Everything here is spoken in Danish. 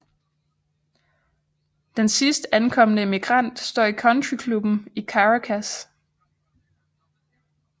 Den sidst ankomne emigrant står i Country clubben i Caracas